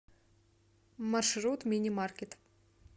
маршрут мини маркет